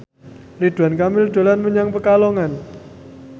Ridwan Kamil dolan menyang Pekalongan